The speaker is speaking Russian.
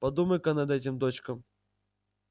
подумай-ка над этим дочка